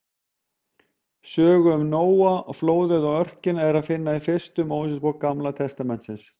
Söguna um Nóa, flóðið og örkina er að finna í fyrstu Mósebók Gamla testamentisins.